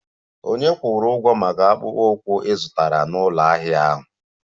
Ònye kwụrụ ụgwọ maka akpụkpọ ụkwụ ị zụtara n'ụlọ ahịa ahụ?